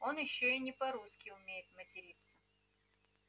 он ещё и не по-русски умеет материться